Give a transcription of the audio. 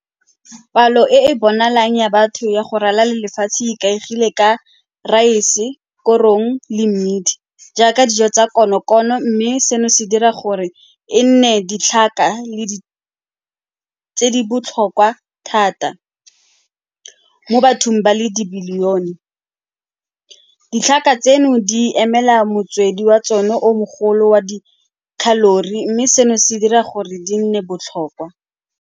Palo e e bonalang ya batho ya go ralala lefatshe e ikaegile ka raese, korong le mmidi jaaka dijo tsa konokono mme seno se dira gore e nne ditlhaka tse di botlhokwa thata mo bathong ba le dibilione. Ditlhaka tseno di emela motswedi wa tsone o mogolo wa di-calorie-i mme seno se dira gore di nne botlhokwa.